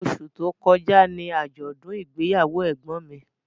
Osù tó kọjá ni àjọ̀dún ìgbéyàwó ẹ̀gbọ́n mi